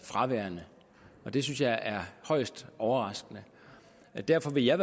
fraværende og det synes jeg er højst overraskende derfor vil jeg